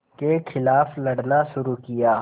के ख़िलाफ़ लड़ना शुरू किया